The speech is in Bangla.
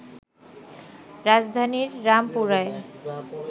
রাজধানীর রামপুরায়